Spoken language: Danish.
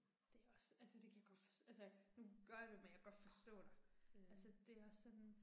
Det er også, altså det kan jeg godt for, altså nu gør jeg det jo, men jeg kan godt forstå dig. Altså det er også sådan